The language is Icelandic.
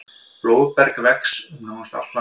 Blóðberg vex um nánast allt land.